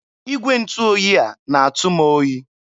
Igwe ntụ oyi a na-atụ m oyi.